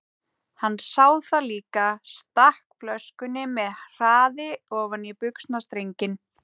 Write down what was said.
Hann sá það líka, stakk flöskunni með hraði ofan í buxnastrenginn.